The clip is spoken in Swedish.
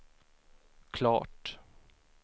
klart